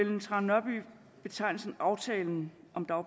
aftalen